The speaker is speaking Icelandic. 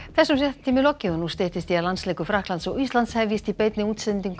þessum fréttatíma er lokið og nú styttist í að landsleikur Frakklands og Íslands hefjist í beinni útsendingu